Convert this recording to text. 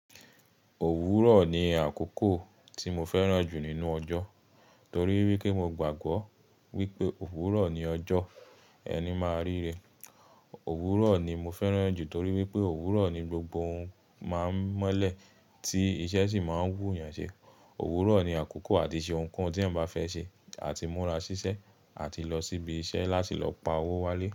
Òwúrò ni àkókò tí mo fẹ́ràn jù nínú ọjọ́, torí wípé mo gbàgbọ́ wípé òwúrò ni ọjọ́ ẹni máa ríre. Òwúrò ni mo fẹ́ràn jù torí wípé òwúrò ni gbogbo ohun máa ń mọ́lẹ̀, tí iṣẹ́ sì máa ń wù yàn ṣe. Òwúrò ni àkókò àti ṣe nǹkan tí ẹ́ bá fẹ́ ṣe àti múra ṣiṣẹ́ àti lọ síbi iṣẹ́ láti lọ pa owó wálé.